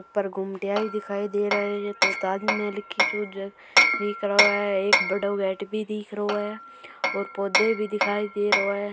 ऊपर गुमटियां ही दिखाई दे रहे हैं ताजमहल की सो जैसे दिख रो है एक बड़ाे गेट भी दिख रहो हो है और पौधे भी दिखाई दे रहो है।